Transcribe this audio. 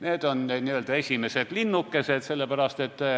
Need on esimesed linnukesed.